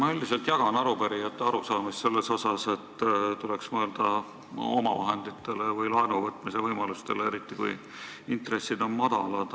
Ma üldiselt jagan arupärijate arusaamist, et tuleks mõelda omavahenditele või laenuvõtmise võimalustele, eriti kui intressid on madalad.